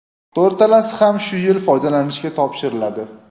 To‘rtalasi ham shu yil foydalanishga topshiriladi.